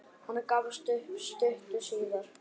Hann gafst upp stuttu síðar.